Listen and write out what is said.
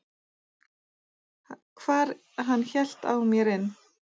hvar hann hélt á mer inn.